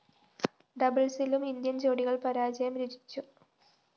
ഡബിള്‍സിലും Indian‍ ജോഡികള്‍ പരാജയം രുചിച്ചു